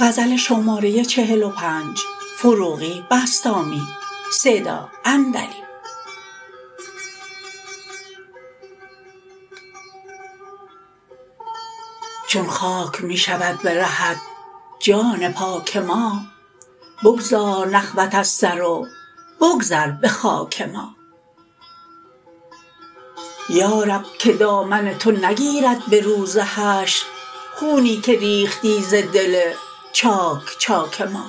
چون خاک می شود به رهت جان پاک ما بگذار نخوت از سر و بگذر به خاک ما یا رب که دامن تو نگیرد به روز حشر خونی که ریختی ز دل چاک چاک ما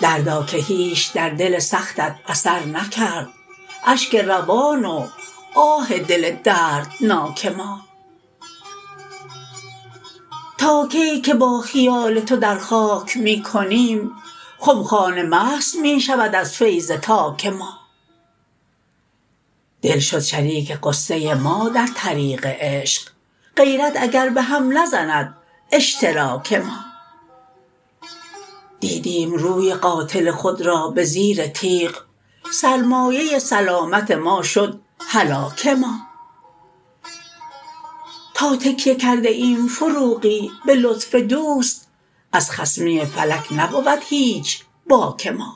دردا که هیچ در دل سختت اثر نکرد اشک روان و آه دل دردناک ما تاکی که با خیال تو در خاک می کنیم خم خانه مست می شود از فیض تاک ما دل شد شریک غصه ما در طریق عشق غیرت اگر بهم نزند اشتراک ما دیدیم روی قاتل خود را به زیر تیغ سرمایه سلامت ما شد هلاک ما تا تکیه کرده ایم فروغی به لطف دوست از خصمی فلک نبود هیچ باک ما